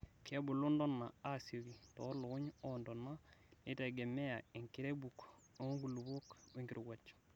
Kebuluu ntonaa aasioki toolukuny oontona neitegemea enkirebuk oonkulupuok wenkirowuaj.